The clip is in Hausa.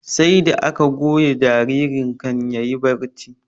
Sarda aka goya jaririn kan yayi barci